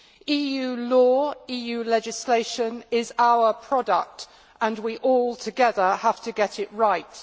EU law EU legislation is our product and we all, together, have to get it right.